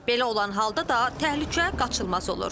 Belə olan halda da təhlükə qaçılmaz olur.